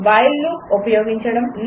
while loop ఉపయోగించడం 3